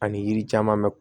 Ani yiri caman bɛ